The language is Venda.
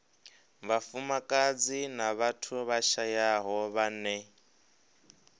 vhafumakadzi na vhathu vhashayaho vhane